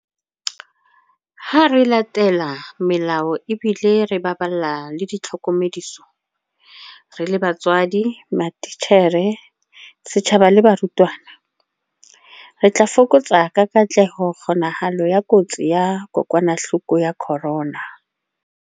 Ha re latela melao ebile re baballa ditlhokomediso - re le batswadi, matitjhere, setjhaba le barutwana - re tla fokotsa ka katleho kgonahalo ya kotsi ya kokwanahloko ya corona.